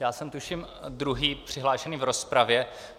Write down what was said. Já jsem tuším druhý přihlášený v rozpravě.